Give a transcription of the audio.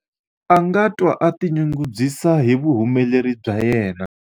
a nga twa a tinyungubyisa hi vuhumeleri bya yena